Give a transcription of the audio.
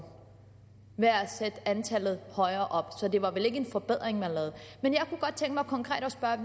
ved at sætte antallet højere op så det var vel ikke en forbedring man lavede men jeg kunne godt tænke mig konkret at spørge